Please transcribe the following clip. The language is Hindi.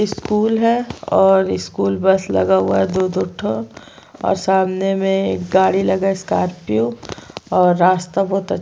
स्कूल है और स्कूल बस लगा हुआ है दो दो ठो और सामने में एक गाड़ी लगा है स्कार्पिओ और रास्ता बहुत --